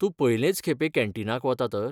तूं पयलेंच खेपें कॅन्टीनाक वता तर?